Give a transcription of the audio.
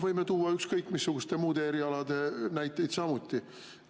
Võime tuua ükskõik missuguste muude erialade kohta samuti näiteid.